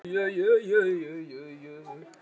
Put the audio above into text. Að auki hélt hann úti eigin sjón